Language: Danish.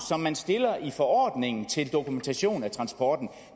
som man stiller i forordningen til dokumentation af transporten